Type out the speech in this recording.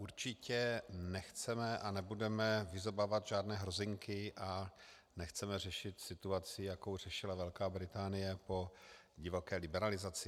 Určitě nechceme a nebudeme vyzobávat žádné hrozinky a nechceme řešit situaci, jakou řešila Velká Británie po divoké liberalizaci.